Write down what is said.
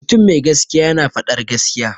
Mutum mai gaskiya yana faɗar gaskiya.